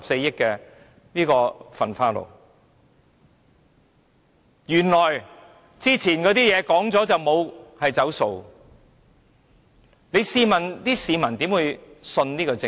原來以前提出的是可以"走數"，試問市民如何相信這個政府。